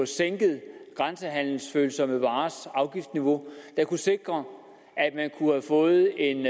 sænket grænsehandelsfølsomme varers afgiftsniveau og kunne sikre at man kunne få en